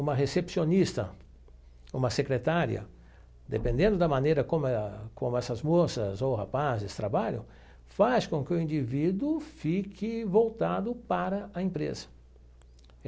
Uma recepcionista, uma secretária, dependendo da maneira como eh como essas moças ou rapazes trabalham, faz com que o indivíduo fique voltado para a empresa.